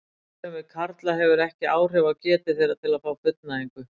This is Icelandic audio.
Ófrjósemi karla hefur ekki áhrif á getu þeirra til að fá fullnægingu.